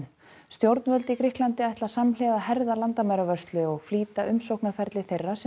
stjórnvöld í Grikklandi ætla samhliða að herða landamæravörslu og flýta umsóknarferli þeirra sem